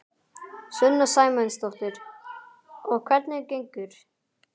Sunna Sæmundsdóttir: Og hvernig gengur?